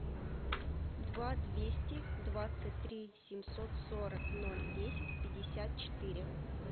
два двести двадцать три семьсот сорок ноль десять пятьдесят четыре